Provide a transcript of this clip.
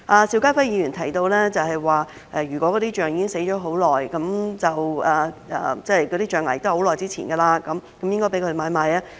邵家輝議員提及，如果大象已經死去一段時間，那些象牙亦已年代久遠，應該容許買賣。